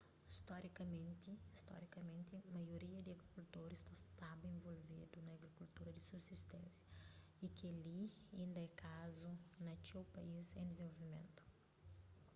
storikamenti maioria di agrikultoris ta staba involvedu na agrikultura di subsisténsia y kel-li inda é kazu na txeu país en dizenvolvimentu